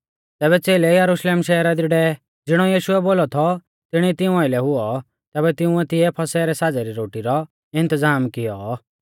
तैबै च़ेलै यरुशलेम शहरा दी डेवै ज़िणौज़िणौ यीशुऐ बोलौ थौ तिणी तिऊं आइलै हुऔ तैबै तिंउऐ तिऐ फसह रै साज़ै री रोटी रौ इन्तज़ाम कियौ